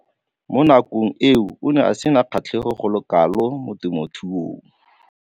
Mo nakong eo o ne a sena kgatlhego go le kalo mo temothuong.